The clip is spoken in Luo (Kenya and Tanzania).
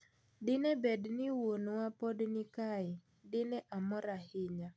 Dine bedni wuonwa podi ni kae ,dine omor ahinya',